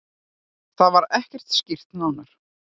Það var ekki skýrt nánar.